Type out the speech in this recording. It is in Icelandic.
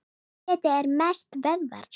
Kjötið er mest vöðvar.